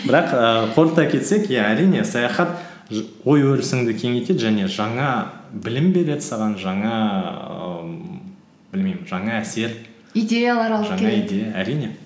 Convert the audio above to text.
бірақ ііі қорыта келсек иә әрине саяхат ой өрісіңді кеңейтеді және жаңа білім береді саған жаңа ііі білмеймін жаңа әсер идеялар алып әрине